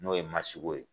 N'o ye masigo ye